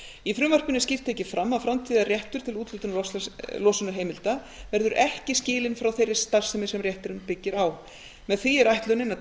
í frumvarpinu er skýrt tekið fram að framtíðarréttur til úthlutunar losunarheimilda verður ekki skilinn frá þeirri starfsemi sem rétturinn byggir á með því er ætlunin að